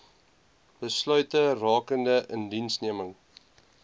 besluite rakende indiensneming